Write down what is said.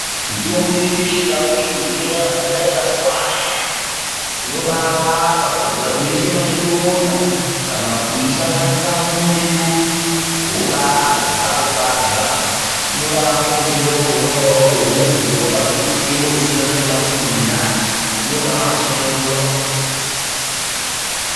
Mitombo yedu yechindau iyi imweni yakhona ikachwanywa inobaarapa Unoise pachirongda kana kuiisanganisa mumuriwo wobaarya, ukarya inorapa utenda wakhona uwowo waurikuzwa, ungazwa utenda wekusungana kwemathumbu mundani inobaamasunungura.